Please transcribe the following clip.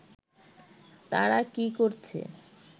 তাঁরা কি করছে